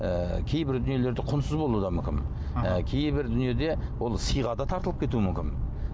ыыы кейбір дүниелер де құнсыз болуы да мүмкін кейбір дүние де ол сыйға да тартылып кетуі мүмкін